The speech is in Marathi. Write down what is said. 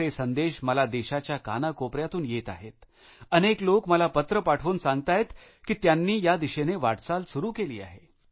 असे संदेश मला देशाच्या कानाकोपऱ्यातून येत आहेत अनेक लोक मला पत्र पाठवून सांगताहेत की त्यांनी या दिशेने वाटचाल सुरु केली आहे